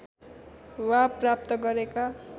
वा प्राप्त गरेका